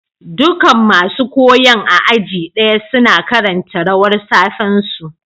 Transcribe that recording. Dukan masun koyon a aji daya suna karanta rawar safe'n su.